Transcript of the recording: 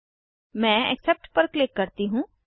मैं एक्सेप्ट पर क्लिक करती हूँ